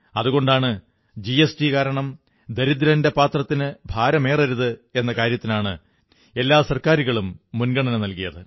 അതുകൊണ്ടാണ് ജിഎസ്ടി കാരണം ദരിദ്രന്റെ പാത്രത്തിന് ഭാരമേറരുത് എന്ന കാര്യത്തിനാണ് എല്ലാ സർക്കാരുകളും മുൻഗണന നല്കിയത്